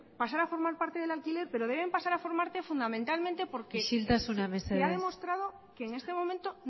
pasar a formar parte del alquiler pero deben pasar a formar parte fundamentalmente porque isiltasuna mesedez se ha demostrado que en este momento